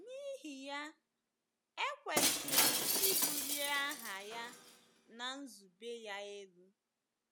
N’ihi ya, e kwesịrị ịbulie aha ya na nzube ya elu.